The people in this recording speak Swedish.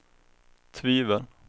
tvivel